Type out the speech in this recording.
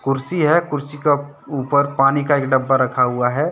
कुर्सी है कुर्सी का ऊपर पानी का एक डब्बा रखा हुआ है।